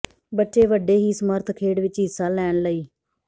ਬੱਚੇ ਵੱਡੇ ਹੀ ਸਮਰੱਥ ਖੇਡ ਵਿਚ ਹਿੱਸਾ ਲੈਣ ਲਈ